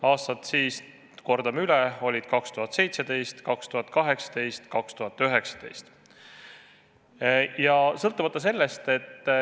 Aastad olid siis – kordan üle – 2017, 2018 ja 2019.